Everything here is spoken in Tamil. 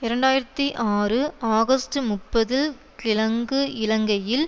இரண்டாயிரத்தி ஆறு ஆகஸ்ட் முப்பது கிழங்கு இலங்கையில்